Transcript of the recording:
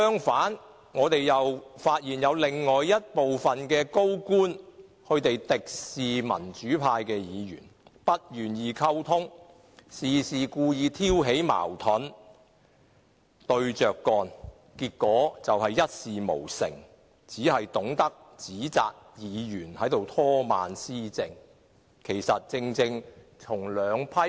反之，我們發現另有部分高官敵視民主派議員，不願意溝通，事事故意挑起矛盾，對着幹，結果便一事無成，只顧指責議員拖慢施政。